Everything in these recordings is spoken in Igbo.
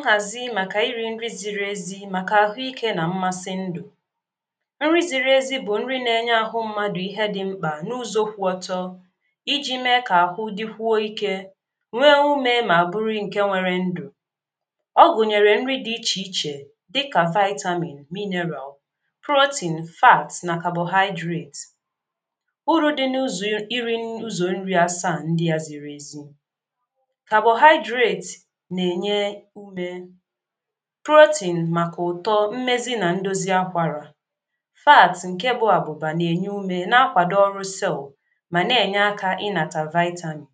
nhazi maka iri nri ziri ezi maka ahụike na mmasị ndụ nri ziri ezi bụ nri na-enye ahụ mmadụ ihe dị mkpa n'uzo kwụ ọtọ iji mee ka ahụ dịkwuo ike nwee ume ma bụrụ nke nwere ndụ Ọ gụnyere nri dị iche iche dịka vitamin mineral protein fæts na carbohydrates Uru dị n'ụzọ iri uzo nri asa ndị a ziri ezi carbohydrates na-enye ume Protein maka ụtọ, mmezi na ndozi akwara Fats nke bụ abụba na-enye ume na-akwado ọrụ cell ma na-enye aka maka inata vitamin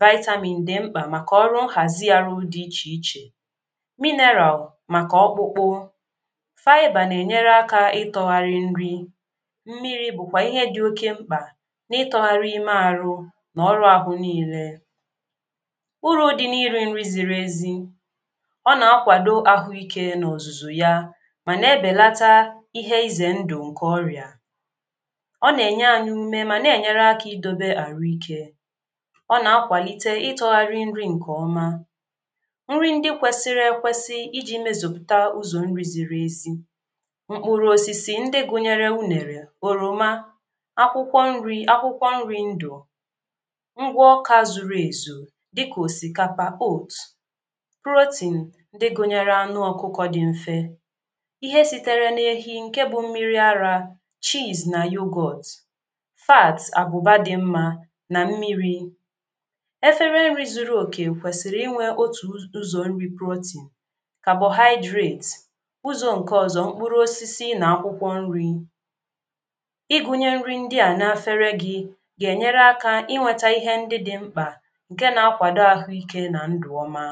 Vitamin dị mkpa maka ọrụ nhazi ahụ dị iche iche Mineral maka ọkpụkpụ faɪbər na-enyere aka ịtọgharị nri Mmiri bụ kwa ihe dị oke mkpa n'ịtọgharị ime ahụ na ọrụ ahụ niile Uru dị n'iri nri ziri ezi Ọ na-akwado ahụike na ọzụzụ ya ma na-ebelata ihe ize ndụ nke ọrịa Ọ na-enye anyị ume ma na-enye aka idobe ahụike Ọ na-akwalite ịtọgharị nri nke ọma nri ndị kwesịrị ekwesị iji mezupụta ụzọ nri ziri ezi Mkpụrụ osisi ndị gụnyere unere oroma akwụkwọ nri, akwụkwọ nri ndụ ngwa ọka zuru ezu dịka osikapa oath protein ndị gụnyere anụ ọkụkọ dị mfe ihe sitere n'ehi nke gụnyere mmiri ara chess na yogurt fats abụba dị mma na mmiri Efere nri zuru oke kwesịrị inwe otu ụzọ nri, protein, carbohydrates uzo nke ọzọ mkpụrụ osisi na akwụkwọ nri Ịgụnye nri ndị a n'efere gị ga-enyere aka inweta ihe ndị dị mkpa nke na-akwado ahụike na ndụ ọma.